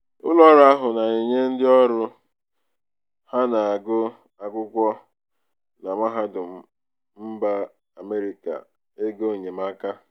ụlọọrụ ahụ na-enye ndịọrụ na-enye ndịọrụ ha na-agụ akwụkwọ na mahadum mba amerika egoenyemaka.